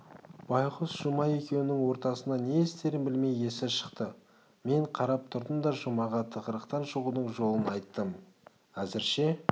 байғұс жұма екеуінің ортасында не істерін білмей есі шықты мен қарап тұрдым да жұмаға тығырықтан шығудың жолын айттым әзірше